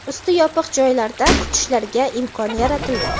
usti yopiq joylarda kutishlariga imkon yaratildi.